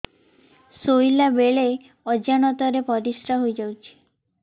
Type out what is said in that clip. ଶୋଇଲା ବେଳେ ଅଜାଣତ ରେ ପରିସ୍ରା ହେଇଯାଉଛି